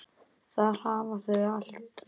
Þar hafa þau allt.